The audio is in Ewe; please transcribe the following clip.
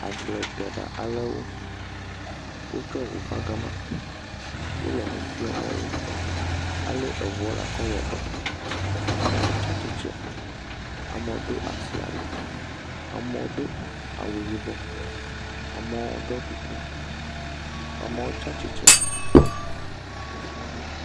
agbledeɖa alewo wótsɔ ʋu va gama wòle enu fiɔmowo alɛ eʋua lakɔ wɔdɔ amo tsatsitre amo ɖo asi ali amo dó awu yibɔ amo ɖo kuku amo tsatsitsre